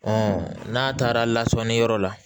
n'a taara lasɔni yɔrɔ la